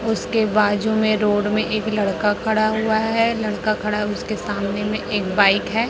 उसके बाजू में रोड में एक लड़का खड़ा हुआ है लड़का खड़ा है उसके सामने में एक बाइक है।